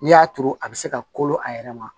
N'i y'a turu a bɛ se ka kolo a yɛrɛ ma